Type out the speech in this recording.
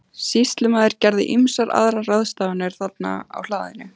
Sýslumaður gerði ýmsar aðrar ráðstafanir þarna á hlaðinu.